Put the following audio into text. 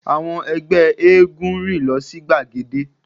Àwọn ẹgbẹ́ éégún rìn lọ sí gbagede